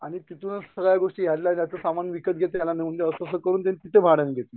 आणि तिथूनच सगळ्या गोष्टी हेड्ल्या जातात सामान विकत घे त्याला नेऊन दे तसं करून त्यांनी तिथे भाड्यानी घेतलं